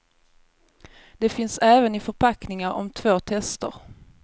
De finns även i förpackning om två tester.